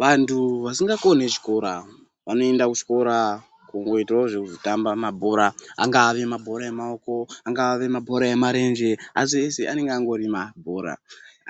Vantu vasingakoni chikora vanoenda kuchikora kungoitawo zvekuzotambawo mabhora. Angave mabhora emaoko angave mabhora emarenje, asi eshe anenge andori mabhora.